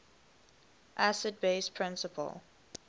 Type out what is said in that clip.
acid base principle